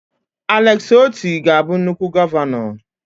Alex Otti ga-abụ nnukwu gọvanọ.